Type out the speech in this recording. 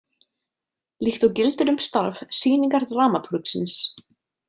Líkt og gildir um starf sýningardramatúrgsins.